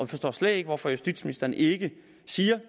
forstår slet ikke hvorfor justitsministeren ikke siger